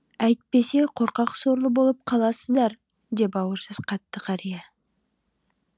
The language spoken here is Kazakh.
әйтпесе қорқақ сорлы болып қаласыздар деп ауыр сөз қатты қария